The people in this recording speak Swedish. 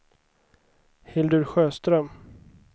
Hildur Sjöström